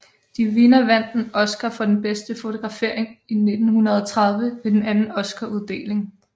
De Vinna vandt en Oscar for bedste fotografering i 1930 ved den anden oscaruddeling